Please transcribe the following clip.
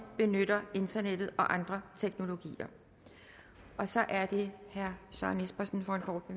benytter internettet og andre teknologier så er det herre søren espersen